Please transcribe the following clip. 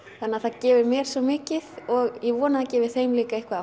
þannig að það gefur mér svo mikið og ég vona að það gefi þeim líka eitthvað